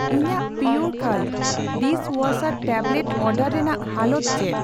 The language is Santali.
ᱤᱧᱟᱜ ᱯᱤᱭᱳᱨᱠᱟᱞᱴ ᱰᱤᱥᱣᱭᱟᱥᱟᱨ ᱴᱮᱵᱞᱮᱴ ᱚᱰᱟᱨ ᱨᱮᱱᱟᱜ ᱦᱟᱞᱚᱛ ᱪᱮᱫ ᱾